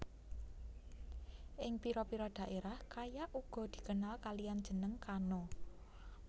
Ing pira pira daerah kayak uga dikenal kalian jeneng kano